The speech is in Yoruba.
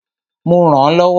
Mo rànán lọ́wọ́.